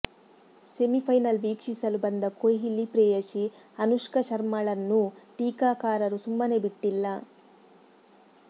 semifinal ವೀಕ್ಷಿಸಲು ಬಂದ ಕೊಹ್ಲಿ ಪ್ರೇಯಸಿ ಅನುಷ್ಕಾ ಶರ್ಮಾಳನ್ನೂ ಟೀಕಾಕಾರರು ಸುಮ್ಮನೆ ಬಿಟ್ಟಿಲ್ಲ